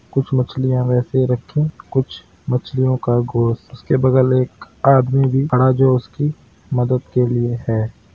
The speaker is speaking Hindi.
कुछ मछलियां वैसे रखी कुछ मछलियों का घोस उसके बगल एक आदमी भी खड़ा जो उसकी मदद के लिए है।